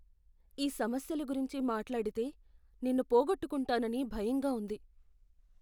ఈ సమస్యల గురించి మాట్లాడితే నిన్ను పోగొట్టుకుంటాననని భయంగా ఉంది.